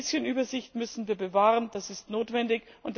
Ein bisschen Übersicht müssen wir bewahren, das ist notwendig.